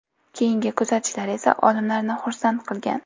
Keyingi kuzatishlar esa olimlarni xursand qilgan.